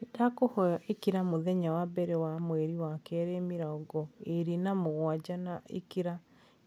Nĩndakũhoya ĩkira mũthenya wa mbere wa mweri wa kerĩ mĩrongo ĩĩrĩ na mũgwanja na ĩkira